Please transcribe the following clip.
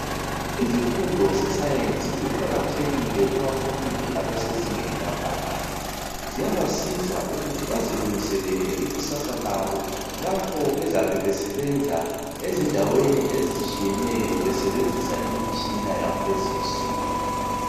Izifundo zesiyensi ziqakathekile kubafundi abasezingeni laphakathi ziyabasiza ukuthi bazilungiselele ibusasa labo lapho bezabe besebenza ezindaweni ezitshiyeneyo besebenzisa imitshina yakulezinsuku